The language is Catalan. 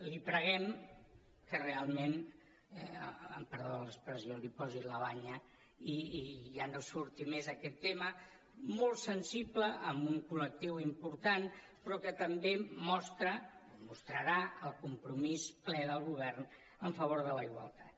li preguem que realment amb perdó de l’expressió hi posi la banya i ja no surti més aquest tema molt sensible amb un col·lectiu important però que també mostra mostrarà el compromís ple del govern a favor de la igualtat